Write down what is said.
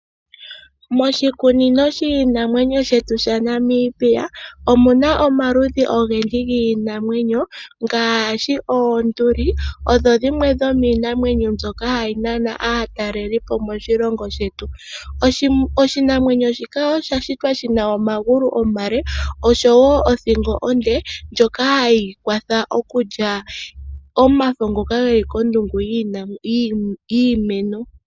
Moshikunino shiinamwenyo shetu shaNamibia omuna omaludhi ogendji giinamwenyo ngaashi oonduli odho dhimwe dhomiinamwenyo mbyoka hayi nana aataleli po moshilongo shetu. Oshinamwenyo shika osha shitwa shina omagulu omale, oshowo othingo onde ndjoka hayi kwatha okulya omafo ngoka geli kondungu yiimeno.